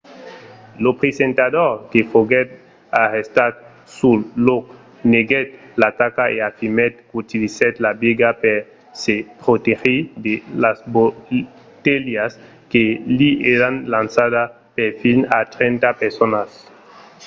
lo presentador que foguèt arrestat sul lòc neguèt l'ataca e afirmèt qu'utilizèt la biga per se protegir de las botelhas que li èran lançadas per fins a trenta personas